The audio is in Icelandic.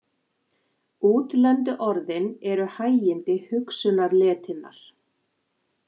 Útlendu orðin eru hægindi hugsunarletinnar.